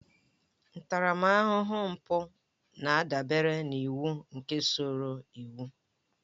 Ntaramahụhụ mpụ na-adabere n'iwu nke usoro iwu